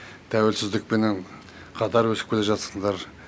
тәуесіздікпенен қатар өсіп келе жатсыңдар